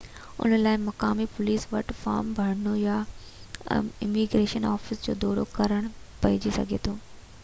ان لاءِ مقامي پوليس وٽ فارم ڀرڻو يا اميگريشن آفيس جو دورو ڪرڻو پئجي سگهي ٿو